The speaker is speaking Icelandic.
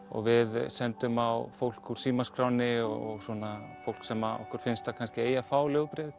og við sendum á fólk úr símaskránni og svona fólk sem okkur finnst að eigi að fá